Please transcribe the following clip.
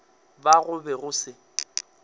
ba go be go se